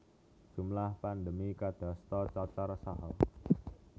Jumlah pandemi kadasta cacar saha